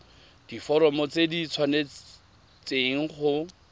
diforomo tse di tshwanesteng go